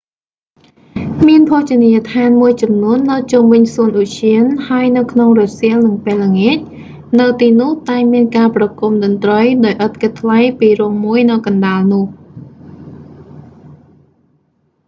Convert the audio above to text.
មានភោជនីយដ្ឋានមួយចំនួននៅជុំវិញសួនឧទ្យាន ហើយនៅក្នុងរសៀលនិងពេលល្ងាច នៅទីនោះតែងមានការប្រគំតន្រ្តីដោយឥតគិតថ្លៃពីរោងមួយនៅកណ្ដាលនោះ